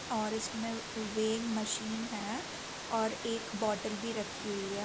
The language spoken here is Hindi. और इसमें मशीन है और एक बोटल भी राखी हुयी है।